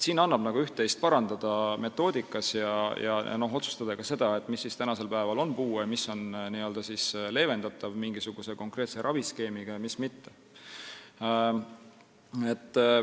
Siin annab üht-teist parandada metoodikas, tuleks otsustada ka seda, mis siis on puue, milline tervisehäda on leevendatav mingisuguse konkreetse raviskeemiga ja mis mitte.